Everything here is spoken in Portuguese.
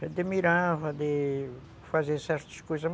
Você admirava de fazer certas coisas.